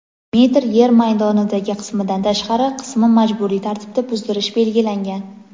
metr yer maydonidagi qismidan tashqari qismi majburiy tartibda buzdirish belgilangan.